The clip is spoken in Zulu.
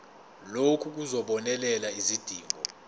lokhu kuzobonelela izidingo